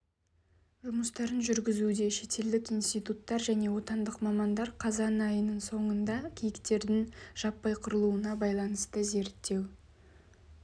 жұмыстарын жүргізуде шетелдік институттар және отандық мамандар қазан айының соңында киіктердің жаппай қырылуына байланысты зерттеу